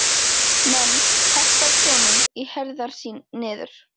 menn, herta af sjónum, í herðar niður.